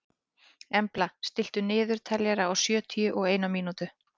Embla, stilltu niðurteljara á sjötíu og eina mínútur.